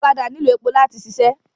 Ọ̀kadà nílò èpò láti ṣiṣẹ́